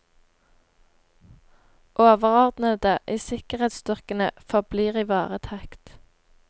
Overordnede i sikkerhetsstyrkene forblir i varetekt.